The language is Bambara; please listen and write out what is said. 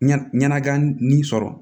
Ɲɛnakan nin sɔrɔ